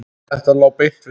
Þetta lá beint við.